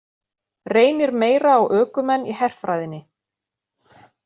Reynir meira á ökumenn í herfræðinni